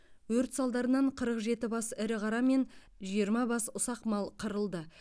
өрт салдарынан қырық жеті бас ірі қара мен жиырма бас ұсақ мал қырылды